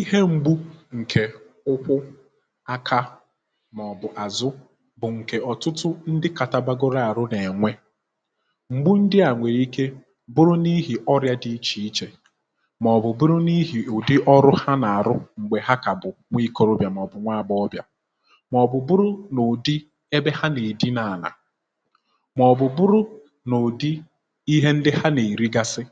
ihe m̀gbu ǹkè ụkwu akȧ màọ̀bụ̀ àzụ bụ̀ ǹkè ọ̀tụtụ ndị katabagoro àrụ n’ènwe m̀gbu ndị à nwèrè ike bụrụ n’ihì ọrịa dị ichè ichè màọ̀bụ̀ bụrụ n’ihì ùdi ọrụ ha nà-àrụ um m̀gbè ha kà bụ̀ nwee ikọrọbịà màọ̀bụ̀ nwa agbọọbịà màọ̀bụ̀ buru n’ùdi ebe ha nà-èdi n’ànà màọ̀bụ̀ bụrụ n’ùdi ihe ndị ha nà-èrigasị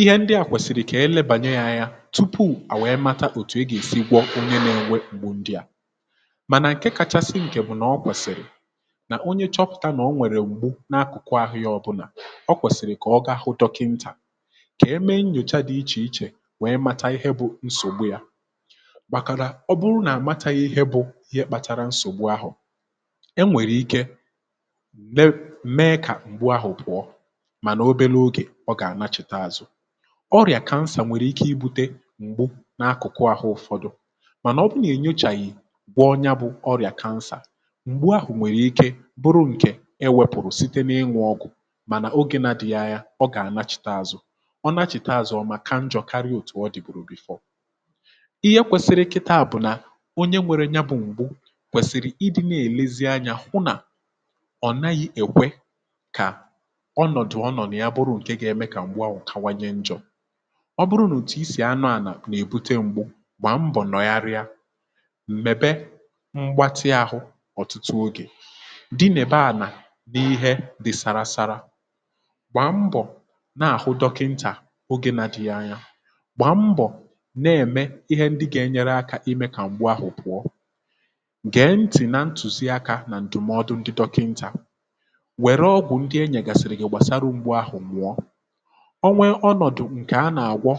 ihe ndị à kwèsị̀rị̀ kà ihe lebànyé yȧ ȧnyȧ tupu à wèe mata òtù e gà-èsi gwọ onye nȧ-ènwe gbu ndịà um mànà ǹke kachasị ǹkè bụ̀ nà ọ kwèsị̀rị̀ nà onye chọpụ̀ta nà o nwèrè mgbu n’akụ̀kụ ahụ̇ yȧ ọbụlà ọ kwèsị̀rị̀ kà ọ gahụ dọkịntà kà emee nnyòcha dị̀ ichè ichè wèe mata ihe bụ̇ nsògbu yȧ um bakàrà ọ bụrụ nà àmataghị ihe bụ̇ ihe kpatara nsògbu ahụ̀ e nwèrè ike mee kà m̀gbu ahụ̀ pụọ. ọ gà-ànachịta ȧzụ̇ ọrịà kansa nwèrè ike ibu̇te m̀gbu n’akụkụ àhụ ụ̇fọdụ mànà ọ bụrụ nà e nyochàghị̀ gwọ̇ onye bụ ọrịà kansà m̀gbu ahụ̀ nwèrè ike bụrụ ǹkè e wėpụ̀rụ̀ site n’ịnwụ̇ ọgụ̀ um mànà ogė na-adịghị agha, ọ gà-ànachịta ȧzụ̇ ọ nachịta ȧzụ̇ ọma ka njọ̀karịò dị̀ bùrù before. ihe kwesiri kịtȧȧ bụ̀ nà onye nwėrė nya bụ̇ m̀gbu kwèsìrì ịdị̇ na-èlezi anyȧ hụ nà ọ̀ naghị̇ èkwe kà ọ bụrụ n’ùtù isì anọ̇ ànà nà-èbute ngwa gbàm bọ̀ nọyariya m̀mèbe mgbatị ahụ̇ ọ̀tụtụ ogè di nà-ebe ànà n’ihe dị̇ sara sara gbàm bọ̀ nà-àhụ dọkịntà um ogė nà dị̇ghị anya gbàm bọ̀ nà-ème ihe ndị gà-enyere akȧ imė kà ngwa ahụ̀ pụ̀ọ gèe ntị̀ nà ntùzi akȧ nà ǹdụ̀mọdụ ndị dọkịntà. onwe onọ̀dụ̀ ǹkè a nà-àgwọ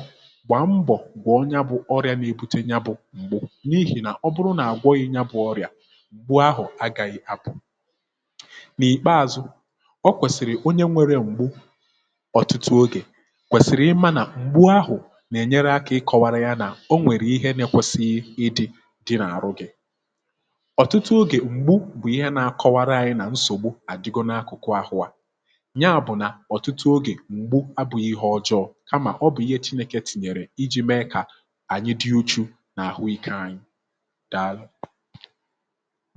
gwà mbọ̀ gwọ̀ ya bụ̇ ọrị̇ȧ nà-ebute ya bụ̇ m̀gbè n’ihi nà ọ bụrụ nà àgwọghị ya bụ̇ ọrị̀à gbu ahụ̀ agà yì abụ̀ n’ìkpeazụ̇. o kwèsìrì onye nwėrė m̀gbu ọ̀tụtụ ogè kwèsìrì ịma nà m̀gbu ahụ̀ nà-ènyere akȧ ịkọ̇wara ya nà o nwèrè ihe nekwesighi ịdị̇ dị n’àrụ gị̇ um. ọ̀tụtụ ogè m̀gbu bụ̀ ihe na-akọwara anyị nà nsògbu àdịgo n’akụkụ ahụ à kama ọ bụ̀ ihe èchinèkè tìnyèrè ijì mee kà ànyị dị̇ uchu nà àhụ ike anyị. dàalụ.